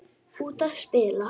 Út að spila.